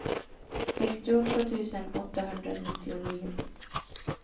sextioåtta tusen åttahundranittionio